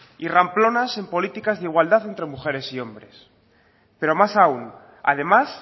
y ramplonas en políticas de igualdad entre mujeres y hombres pero más aún además